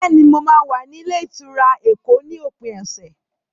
Bẹ́ẹ̀ni, mo máa wà ní ilé-ìtura Èkó ní òpin ọ̀sẹ̀.